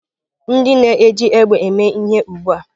Ndị na-eji egbe eme ihe ugbu a.